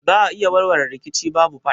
Za a iya warware rikici babu fada?